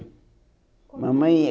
Mamãe e eu.